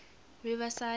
riverside